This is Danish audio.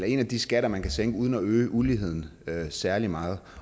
en af de skatter man kan sænke uden at øge uligheden særlig meget